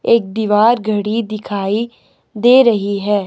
एक दीवार घड़ी दिखाई दे रही है।